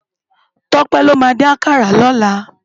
Tope ló má din àkàrá lòlá